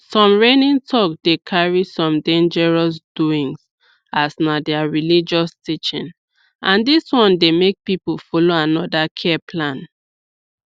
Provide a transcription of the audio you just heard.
some reigning talk dey carry some dangerous doings as na their religious teaching and dis one dey make people follow another care plan